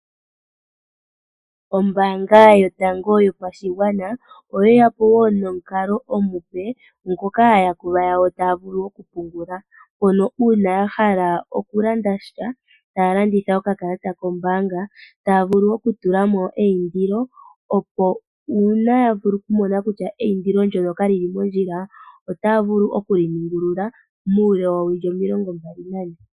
Ombaanga yotango yopashigwana oye ya po wo nomukalo omupe ngoka aayakulwa yawo taya vulu okupungula mpono uuna ya hala okulanda sha taya landitha okakalata kombaanga taya vulu okutula mo eindilo, opo uuna ya vulu okumona kutya eindilo ndyoka ka li li mondjila otaya vulu okuli ningulula muule woowilo omilongo mbali nane.